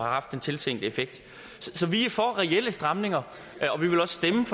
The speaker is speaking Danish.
haft den tilsigtede effekt så vi er for reelle stramninger